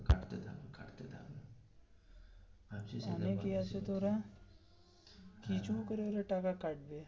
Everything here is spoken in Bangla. অনেক ইয়ে আছে তো ওরা কিছু করে টাকা কাটবে.